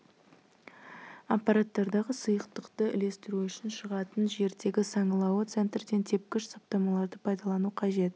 аппаратардағы сұйықтықты үлестіру үшін шығатын жердегі саңылауы центрден тепкіш саптамаларды пайдалану қажет